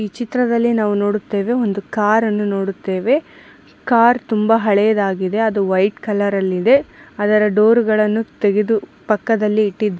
ಈ ಚಿತ್ರದಲ್ಲಿ ನಾವು ನೋಡುತ್ತೇವೆ ಒಂದು ಕಾರನ್ನು ನೋಡುತ್ತೇವೆ ಕಾರ್ ತುಂಬಾ ಹಳೆಯದಾಗಿದೆ ಅದು ವೈಟ್ ಕಲರ್ ಅಲ್ಲಿದೆ ಅದರ ಡೋರ್ಗ ಳನ್ನು ತೆಗೆದು ಪಕ್ಕದಲ್ಲಿ ಇಟ್ಟಿ --